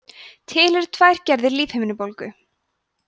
til eru tvær gerðir lífhimnubólgu